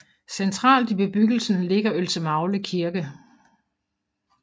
Centralt i bebyggelsen ligger Ølsemagle Kirke